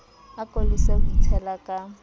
ako lese ho itshela ka